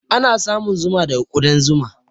Ana samun zuma daga kuɗan zuma.